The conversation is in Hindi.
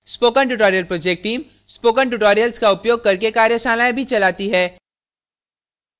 spoken tutorial project team spoken tutorials का उपयोग करके कार्यशालाएँ भी चलाती है